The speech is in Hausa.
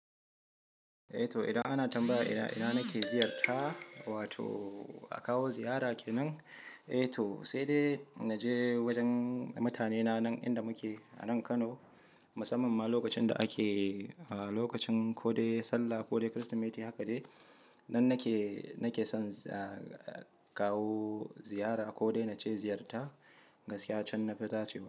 Eh to, idan ana tambaya ina, ina nake ziyarta wato a kawo ziyara kenan? Eh to sai dai na je wajen mutanena nan inda muke a nan Kano. Musamman ma lokacin da ake, ah lokacin ko dai Sallah ko dai krisemeti haka dai. Nan nake, nake son kawo ziyara ko dai na ce ziyarta gaskiya can na fi dace wa.